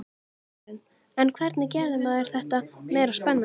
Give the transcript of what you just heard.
Karen: En hvernig gerir maður þetta meira spennandi?